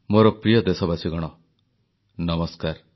ପୁଲୱାମା ଆତଙ୍କବାଦୀ ଆକ୍ରମଣ ପରେ ଦେଶବାସୀଙ୍କ ମନରେ ଆକ୍ରୋଶ